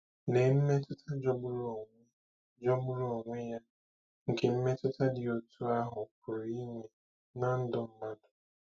Lee mmetụta jọgburu onwe jọgburu onwe ya nke mmetụta dị otú ahụ pụrụ inwe ná ndụ mmadụ!